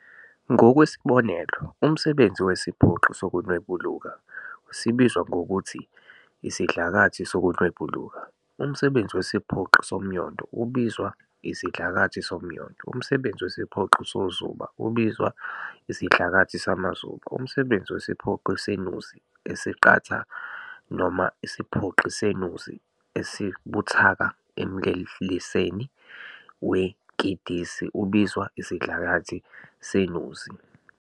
Ngokwesibonelo, umsebenzi wesiphoqi sokunwebuluka sibizwa ngokuthi isidlakathi sokunwebuluka, umsebenzi wesiphoqi somnyondo ubizwa isidlakathi somnyondo, umsebenzi wesiphoqi sozuba ubizwa isidlakathi samazuba, umsebenzi wesiphoqi senuzi esiqatha noma isiphoqi senuzi esibuthaka emleleseni wenkindisi ubizwa isidlakathi senuzi.